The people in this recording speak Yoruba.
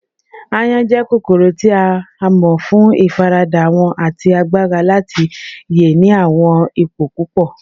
Àyon jẹ kokoro ti a mọ fun ifarada wọn ati agbara lati ye ni awọn ipo pupọ